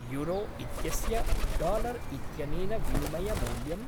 Euro इत्यस्य dollar इत्यनेन विनिमयमूल्यम्?